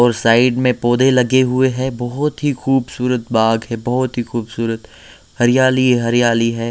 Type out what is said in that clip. और साइड में पौधे लगे हुए हैं बहुत ही खूबसूरत बाग हैं बहुत ही खूबसूरत हरियाली ही हरियाली हैं।